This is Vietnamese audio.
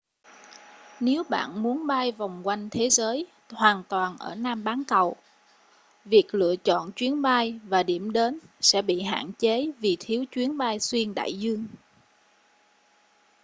nếu bạn muốn bay vòng quanh thế giới hoàn toàn ở nam bán cầu việc lựa chọn chuyến bay và điểm đến sẽ bị hạn chế vì thiếu chuyến bay xuyên đại dương